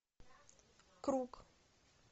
круг